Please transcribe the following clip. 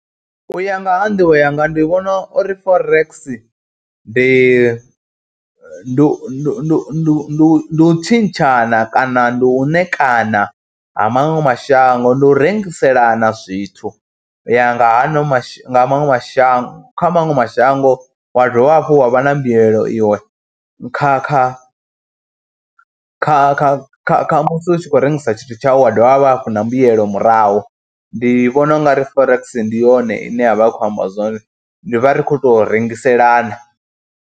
U ya nga ha nḓivho yanga ndi vhona uri Forex ndi ndu ndu ndu u tshintshana kana ndi u ṋekana ha maṅwe mashango, ndi u rengiselana zwithu u ya nga ha no mashango, maṅwe mashango, kha maṅwe mashango wa dovha hafhu wa vha na mbuyelo iwe kha kha kha kha kha kha musi u tshi khou rengisa tshithu tshau wa dovha hafhu na mbuyelo murahu. Ndi vhona u nga ri Forex ndi yone ine ya vha i khou amba zwone ndi vha ri khou tou rengiselana.